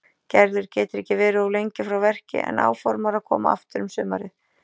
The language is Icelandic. Gerður getur ekki verið of lengi frá verki en áformar að koma aftur um sumarið.